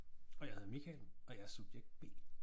Og jeg hedder Michael og jeg er subjekt B